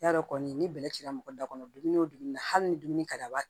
I y'a dɔn kɔni ni bɛlɛ cira mɔgɔ da kɔnɔ dumuni o dumuni na hali ni dumuni ka d'a